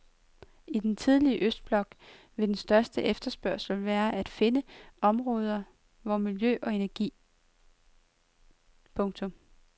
I den tidligere østblok vil den største efterspørgsel være at finde på områderne for miljø og energi. punktum